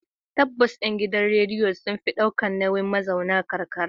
Tabbas, gidajen rediyo sun fi ɗaukar nauyin mazauna karkara.